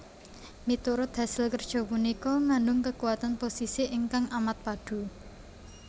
Miturut hasil kerja punika ngandung kekuatan posisi ingkang amat padu